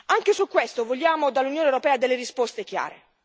Anche su questo vogliamo dall'Unione europea delle risposte chiare.